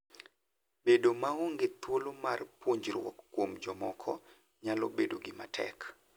Bedo maonge thuolo mar puonjruok kuom jomoko nyalo bedo gima tek.